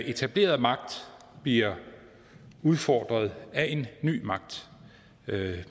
etableret magt bliver udfordret af en ny magt det